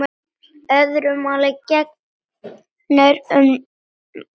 Öðru máli gegnir um ávexti.